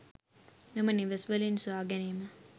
මෙම නිවෙස්‌වලින් සොයාගැනීම